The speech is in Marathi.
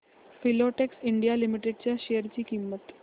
फिलाटेक्स इंडिया लिमिटेड च्या शेअर ची किंमत